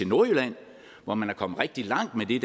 nordjylland hvor man er kommet rigtig langt med det